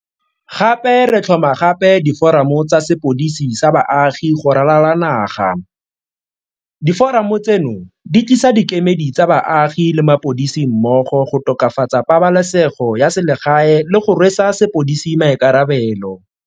Gape re tlhoma gape diforamo tsa sepodisi sa baagi go ralala naga. Diforamo tseno di tlisa dikemedi tsa baagi le mapodisi mmogo go tokafatsa pabalesego ya selegae le go rwesa sepodisi maikarabelo.